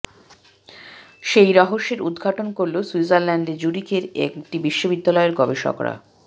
সেই রহস্যের উদঘাটন করল সুইজারল্যান্ডে জুরিখের একটি বিশ্ববিদ্যালয়ের গবেষকেরা